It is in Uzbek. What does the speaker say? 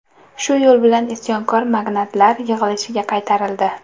Shu yo‘l bilan isyonkor magnatlar yig‘ilishga qaytarildi.